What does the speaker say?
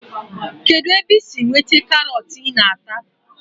Kedụ ebe i si nweta karọt ị na-ata